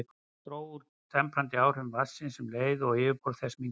Það dró úr temprandi áhrifum vatnsins um leið og yfirborð þess minnkaði.